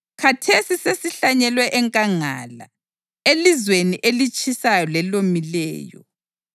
Khathesi sesihlanyelwe enkangala, elizweni elitshisayo lelomileyo.